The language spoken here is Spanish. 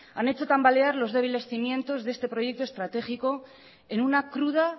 han hecha tambalear los débiles cimientos de este proyecto estratégico en una cruda